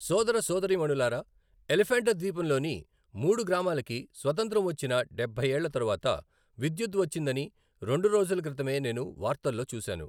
సోదరసోదరీమణూలారా, ఎలిఫెంటా ద్వీపంలోని మూడు గ్రామాలకి స్వతంత్రం వచ్చిన డెభ్భై ఏళ్ల తరువాత విద్యుత్తు వచ్చిందని రెండు రోజుల క్రితమే నేను వార్తల్లో చూశాను.